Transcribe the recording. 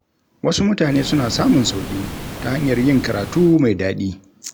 Wasu mutane suna samun sauƙi ta hanyar yin karatu mai daɗi.